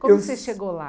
Como você chegou lá?